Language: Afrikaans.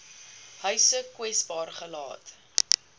huise kwesbaar gelaat